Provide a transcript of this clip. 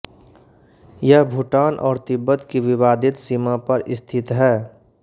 यह भूटान और तिब्बत की विवादित सीमा पर स्थित है